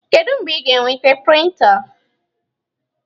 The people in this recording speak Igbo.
Kedu mgbe ị ga-enweta prịnta?